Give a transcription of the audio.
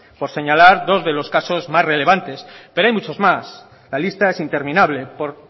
por señalar dos de los casos más relevantes pero hay muchos más la lista es interminable por